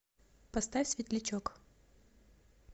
поставь светлячок